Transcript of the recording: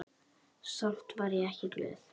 Samt var ég ekki glöð.